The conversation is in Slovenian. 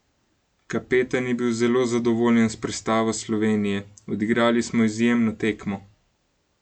Kapetan je bil zelo zadovoljen s predstavo Slovenije: "Odigrali smo izjemno tekmo.